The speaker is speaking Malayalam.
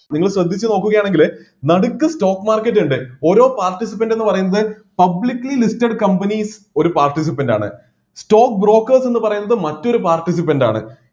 നിങ്ങള് ശ്രദ്ധിച്ചു നോക്കുകയാണെങ്കില് നടുക്ക് stock market ഇണ്ട് ഓരോ participant എന്ന് പറയുന്നത് publicly listed companies ഒരു participant ആണ് stock brokeres എന്നു പറയുന്നത് മറ്റൊരു participant ആണ്